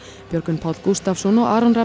Björgvin Páll Gústavsson og Aron Rafn